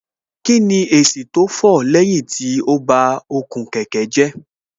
Kíni èsì tó fọ̀ lẹ́yìn tí ó ba okùn kẹ̀kẹ́ jẹ́